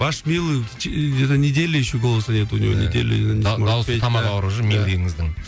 ваш милый где то неделю еще голоса нету у него дауысы тамағы ауырып жүр милыйыңыздың